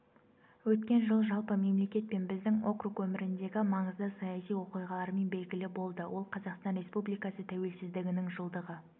өткен жыл жалпы мемлекет пен біздің округ өміріндегі маңызды саяси оқиғалармен белгілі болды ол қазақстан республикасы тәуелсіздігінің жылдығы